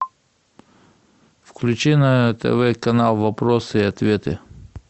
включи на тв канал вопросы и ответы